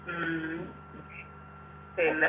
ഉം പിന്നെ